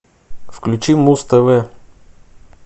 включи муз тв